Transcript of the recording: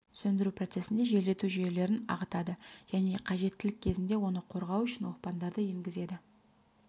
сөндіру процесінде желдету жүйелерін ағытады және қажеттілік кезінде оны қорғау үшін оқпандарды енгізеді